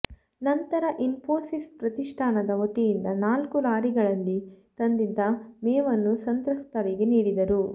ನಂತರ ಇನ್ಪೋಸಿಸ್ ಪ್ರತಿಷ್ಠಾನದ ವತಿಯಿಂದ ನಾಲ್ಕು ಲಾರಿಗಳಲ್ಲಿ ತಂದಿದ್ದ ಮೇವನ್ನು ಸಂತ್ರಸ್ತರಿಗೆ ನೀಡಿದರು